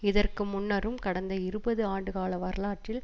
இதற்கு முன்னரும் கடந்த இருபது ஆண்டு கால வரலாற்றில்